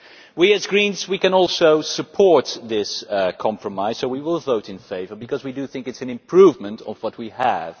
We as Greens can also support this compromise, so we will vote in favour because we do think it is an improvement on what we have.